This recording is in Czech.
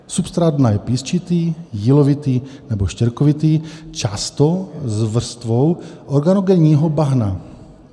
Substrát dna je písčitý, jílovitý nebo štěrkovitý, často s vrstvou organogenního bahna.